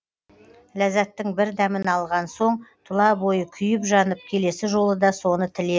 ләззаттың бір дәмін алған соң тұла бойы күйіп жанып келесі жолы да соны тілер